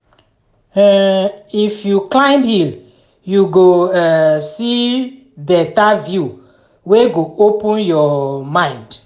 um if you climb hill you go um see better view wey go open your um mind.